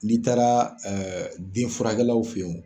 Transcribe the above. N'i taara denfurakɛlaw fe wo.